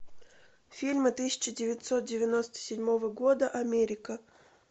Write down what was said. фильмы тысяча девятьсот девяносто седьмого года америка